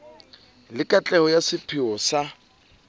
le katleho ya sepheo sa